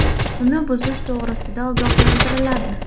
Uni buzish to‘g‘risida ogohlantiriladi.